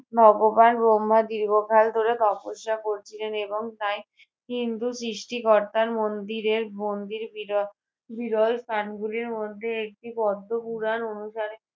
ভগবান ব্রহ্মা দীর্ঘকাল ধরে তপস্যা করছিলেন এবং তাই হিন্দু সৃষ্টিকর্তার মন্দিরের মন্দির বির~ বিরল প্রাণগুলির মধ্যে একটি পদ্ম পুরাণ অনুসারে